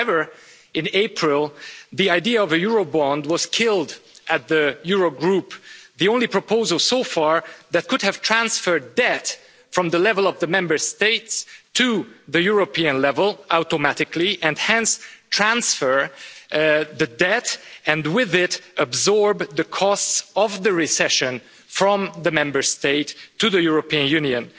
However in April, the idea of a Eurobond was killed at the Eurogroup, the only proposal so far that could have transferred debt from the level of the Member States to the European level automatically, and hence transfer the debt, and with it absorb the costs of the recession from the Member States to the European Union.